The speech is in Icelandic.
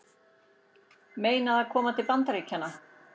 Meinað að koma til Bandaríkjanna